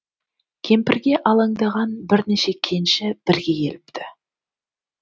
кемпірге алаңдаған бірнеше кенші бірге келіпті